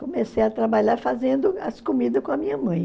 Comecei a trabalhar fazendo as comidas com a minha mãe.